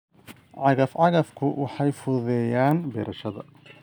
Cagaf-cagaftu waxay fududeeyaan beerashada.